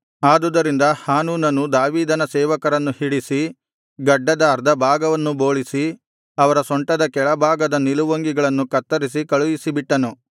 ಆದುದರಿಂದ ಹಾನೂನನು ದಾವೀದನ ಸೇವಕರನ್ನು ಹಿಡಿಸಿ ಗಡ್ಡದ ಅರ್ಧ ಭಾಗವನ್ನು ಬೋಳಿಸಿ ಅವರ ಸೊಂಟದ ಕೆಳಭಾಗದ ನಿಲುವಂಗಿಗಳನ್ನು ಕತ್ತರಿಸಿ ಕಳುಹಿಸಿಬಿಟ್ಟನು